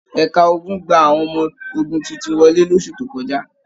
Ẹ̀ka ogun gba àwọn ọmọ ogun tuntun wọlé losu tó kọjá.